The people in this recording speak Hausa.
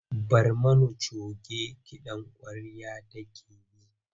Barmani coge kiɗan ƙwarya take yi.